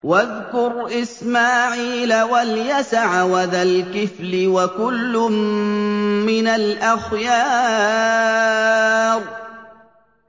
وَاذْكُرْ إِسْمَاعِيلَ وَالْيَسَعَ وَذَا الْكِفْلِ ۖ وَكُلٌّ مِّنَ الْأَخْيَارِ